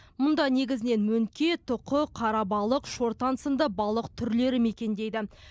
мұнда негізінен мөңке тұқы қарабалық шортан сынды балық түрлері мекендейді